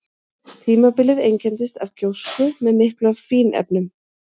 Tímabilið einkenndist af gjósku með miklu af fínefnum.